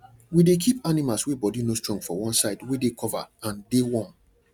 we dey keep animal wey body no strong for one side wey dey cover and dey warm